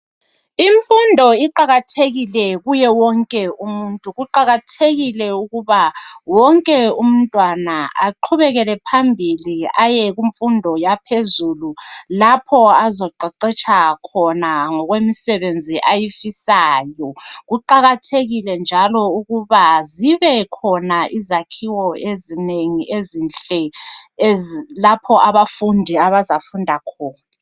Imfundo iqakathekile kuye wonke umuntu. Kuqakathekile ukuba wonke umntwana aqhubekele phambili aye kumfundo yaphezulu lapho azaqeqetsha khona ngokwemisebenzi ayifisayo. Kuqakathekile njalo ukuba zibekhona izakhiwo ezinengi ezinhle lapho abafundi abazafunda khona.